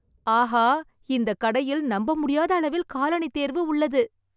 ஆஹா, இந்த கடையில் நம்பமுடியாத அளவில் காலணி தேர்வு உள்ளது!